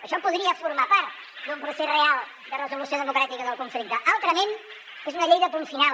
això podria formar part d’un procés real de resolució democràtica del conflicte altrament és una llei de punt final